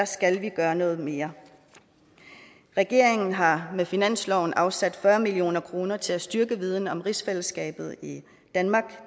skal vi gøre noget mere regeringen har med finansloven afsat fyrre million kroner til at styrke viden om rigsfællesskabet i danmark